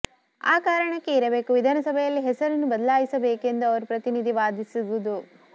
ಆ ಕಾರಣಕ್ಕೆ ಇರಬೇಕು ವಿಧಾನಸಭೆಯಲ್ಲಿ ಹೆಸರನ್ನು ಬದಲಾಯಿಸಬೇಕೆಂದು ಅವರ ಪ್ರತಿನಿಧಿ ವಾದಿಸಿದುದು